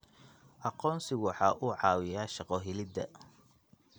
Aqoonsigu waxa uu caawiyaa shaqo helida.